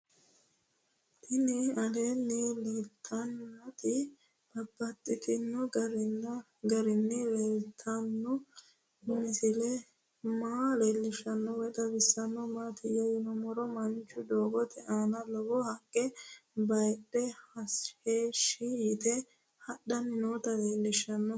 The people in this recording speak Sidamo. Tinni aleenni leelittannotti babaxxittinno garinni leelittanno misile maa leelishshanno woy xawisannori maattiya yinummoro mancho doogotte aanna lowo haqqe bayiidhe heeshi yiitte hadhanni nootti leelittanno